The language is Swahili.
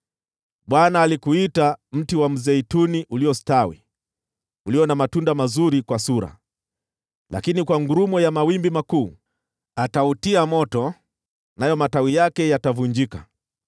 Bwana alikuita mti wa mzeituni uliostawi ulio na matunda mazuri kwa sura. Lakini kwa ngurumo ya mawimbi makuu atautia moto, nayo matawi yake yatavunjika.